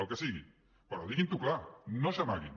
el que sigui però diguin ho clar no s’amaguin